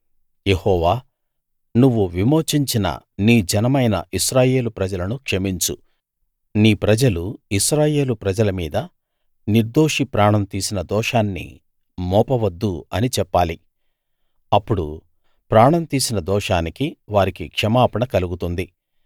యెహోవా నువ్వు విమోచించిన నీ జనమైన ఇశ్రాయేలు ప్రజలను క్షమించు నీ ప్రజలు ఇశ్రాయేలు ప్రజల మీద నిర్దోషి ప్రాణం తీసిన దోషాన్ని మోపవద్దు అని చెప్పాలి అప్పుడు ప్రాణం తీసిన దోషానికి వారికి క్షమాపణ కలుగుతుంది